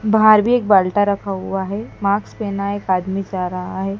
बाहर भी एक बाल्टा रखा हुआ है माक्स पहना एक आदमी जा रहा है।